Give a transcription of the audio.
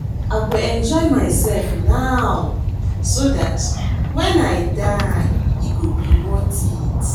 I go enjoy myself now so dat wen I die e go be worth it